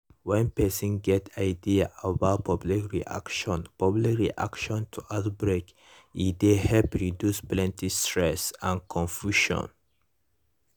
when person get ideas about public reaction public reaction to outbreak e dey help reduce plenty stress and confusion